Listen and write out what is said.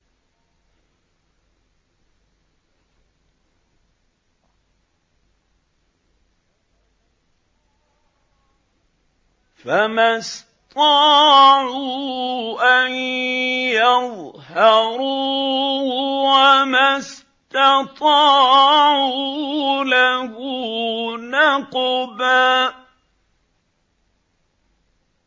فَمَا اسْطَاعُوا أَن يَظْهَرُوهُ وَمَا اسْتَطَاعُوا لَهُ نَقْبًا